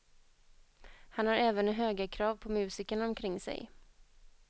Han har även höga krav på musikerna omkring sig.